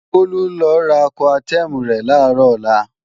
Bólú ń lọ ra Coartem rẹ̀ làárò ọlá